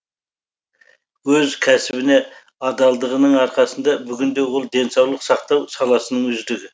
өз кәсібіне адалдығының арқасында бүгінде ол денсаулық сақтау саласының үздігі